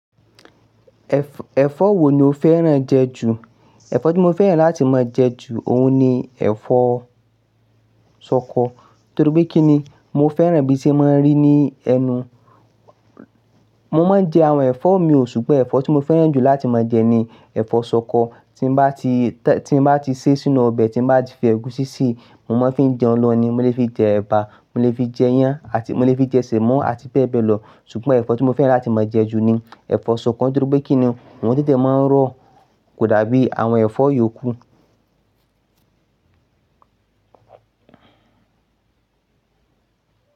Ẹ̀fọ́ wo ni o fẹ́ràn jẹ ju? Ẹ̀fọ́ tí mo fẹ́ràn láti máa jẹ ju òun ni ẹ̀fọ́ ṣọkọ. Torí pé kínni mo fẹ́ràn bí i ṣe máa ń rí ní ẹnu. Mo máa ń jẹ àwọn ẹ̀fọ́ mi ò, ṣùgbọ́n ẹ̀fọ́ tí mo fẹ́ràn jù láti máa jẹ ni ẹ̀fọ́ ṣọkọ. Tí mo bá ti, tí mo bá ti sé sínú ọbẹ̀, tí mo bá ti fi ẹ̀gúsí sí i, mo máa ń fi jẹun lọ ni, mo lè fi jẹ ẹ̀bà, mo lè fi jẹ yán àti mo lè fi jẹ sẹ̀mọ́ àti bẹ́ẹ̀ bẹ́ẹ̀ lọ. Ṣùgbọ́n ẹ̀fọ́ tí mo fẹ́ràn láti máa jẹ jù ni ẹ̀fọ́ ṣọkọ nítorí pé kínni òun tetẹ máa ń rọ kò dàbí àwọn ẹ̀fọ́ yòókù.